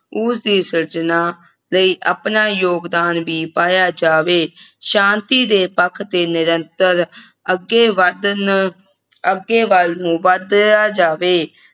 ਉਸ ਦੀ ਸਿਰਜਣਾ ਲਈ ਆਪਣਾ ਯੋਗਦਾਨ ਵੀ ਪਾਇਆ ਜਾਵੇ ਸ਼ਾਂਤੀ ਦੇ ਪੱਖ ਤੇ ਨਿਰੰਤਰ ਅੱਗੇ ਵਧਣ ਅੱਗੇ ਵੱਲ ਨੂੰ ਵਧਿਆ ਜਾਵੇ